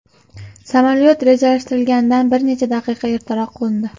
Samolyot rejalashtirilganidan bir necha daqiqa ertaroq qo‘ndi.